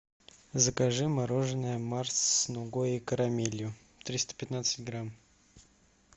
закажи мороженое марс с нугой и карамелью триста пятнадцать грамм